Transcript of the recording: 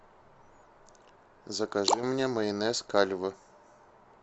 закажи мне майонез кальве